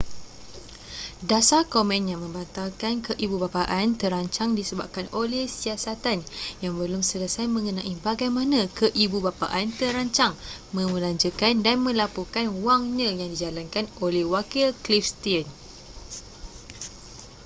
dasar komen yang membatalkan keibubapaan terancang disebabkan oleh siasatan yang belum selesai mengenai bagaimana keibubapaan terancang membelanjakan dan melaporkan wangnya yang dijalankan oleh wakil cliff stearns